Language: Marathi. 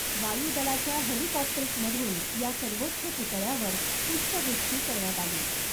वायुदलाच्या हेलिकॉप्टर्समधून या सर्वोच्च पुतळ्यावर पुष्पवृष्टी करण्यात आली .